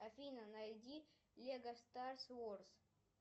афина найди лего старс ворс